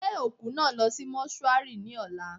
Gbé òkú náà lọ sí mọ́ṣúárì ní ọ̀la.